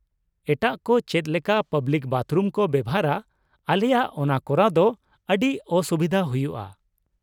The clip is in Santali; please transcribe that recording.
ᱮᱴᱟᱜ ᱠᱚ ᱪᱮᱫ ᱞᱮᱠᱟ ᱯᱟᱵᱞᱤᱠ ᱵᱟᱛᱷᱨᱩᱢ ᱠᱚ ᱵᱮᱣᱦᱟᱨᱟ ᱟᱞᱮᱭᱟᱜ ᱚᱱᱟ ᱠᱚᱨᱟᱣ ᱫᱚ ᱟᱹᱰᱤ ᱚᱼᱥᱩᱵᱤᱫᱷᱟ ᱦᱩᱭᱩᱜᱼᱟ ᱾